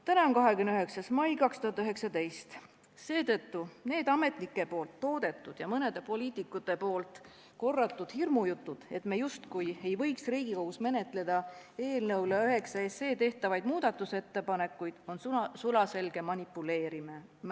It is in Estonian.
Täna on 29. mai 2019, seetõttu on need ametnike toodetud ja mõne poliitiku korratud hirmujutud, et me justkui ei võiks Riigikogus menetleda eelnõu 9 kohta tehtavaid muudatusettepanekuid, sulaselge manipuleerimine.